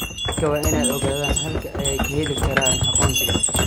Dadku waa inay ogaadaan halka ay ka heli karaan aqoonsiga.